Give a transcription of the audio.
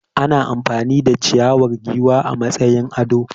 Ana amfani da ciyawar giwa a matsayin ado.